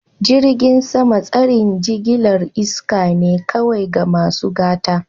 Jirgin sama tsarin jigilar iska ne kawai ga masu gata.